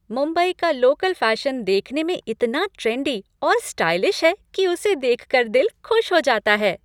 मुंबई का local fashion देखने में इतना ट्रेंडी और स्टाइलिश है कि उसे देख कर दिल खुश हो जाता है।